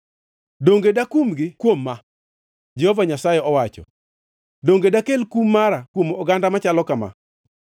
donge dakumgi kuom ma?” Jehova Nyasaye owacho. “Donge dakel kum mara kuom oganda machalo kama?